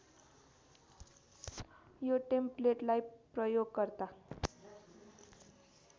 यो टेम्पलेटलाई प्रयोगकर्ता